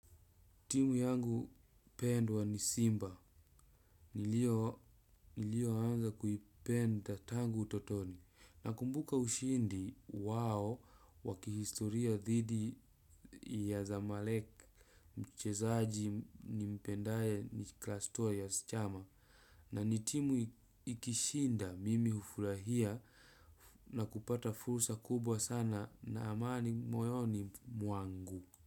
Timu yangu pendwa ni simba. Nilioanza kuipenda tangu utotoni. Nakumbuka ushindi wao wa kihistoria dhidi ya zamalek mchezaji nimpendaye ni klastua yaschama. Na ni timu ikishinda mimi hufurahia na kupata fursa kubwa sana na amani moyoni mwangu.